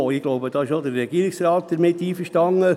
Ich glaube, damit ist auch der Regierungsrat einverstanden.